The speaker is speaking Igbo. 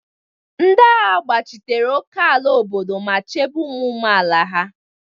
Ndị agha gbachitere ókèala obodo ma chebe ụmụ amaala ya.